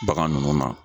Bagan ninnu na